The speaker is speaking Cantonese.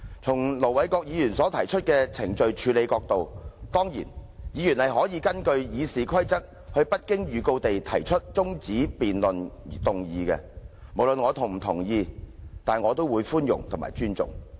從盧議員所述的程序處理角度來看，議員當然可根據《議事規則》無經預告而動議中止待續議案；不論我是否同意，我也會寬容和尊重。